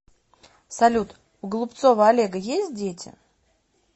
салют у голубцова олега есть дети